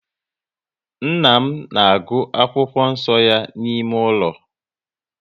Nna m na agụ akwụkwọ nso ya n'ime ụlọ